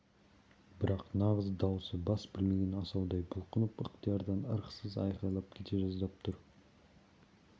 бірақ нағыз даусы бас білмеген асаудай бұлқынып ықтиярдан ырықсыз айқайлап кете жаздап тұр